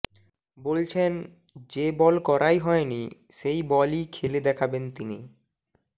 বলছেন যে বল করাই হয়নি সেই বলই খেলে দেখাবেন তিনি